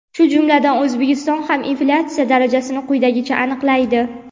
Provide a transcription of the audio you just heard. shu jumladan O‘zbekiston ham inflyatsiya darajasini quyidagicha aniqlaydi.